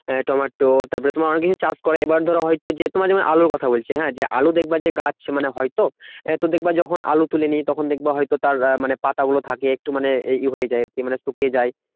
Tomato তারপরে অনেককিছু চাষ করে। এবার ধরো হয়তো যে তোমার যেমন আলুর কথা বলছি হ্যাঁ যে আলু দেখবা যে গাছ মানে হয়তো এবার দেখবা যখন আলু তুলে নিয়ে তখন দেখবা হয়ত তার আহ পাতাগুলো থাকে একটু মানে ইয়ে হয়ে যায় আরকি মানে শুকিয়ে যায়।